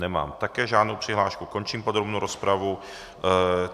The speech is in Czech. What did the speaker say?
Nemám také žádnou přihlášku, končím podrobnou rozpravu.